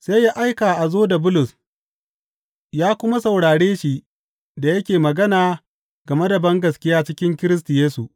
Sai ya aika a zo da Bulus ya kuma saurare shi da yake magana game da bangaskiya cikin Kiristi Yesu.